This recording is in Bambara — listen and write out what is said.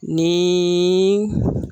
Ni